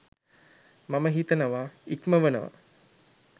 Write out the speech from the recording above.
මම හිතනවා ඉක්මවනවා.